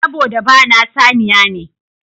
Saboda ba na saniya ne.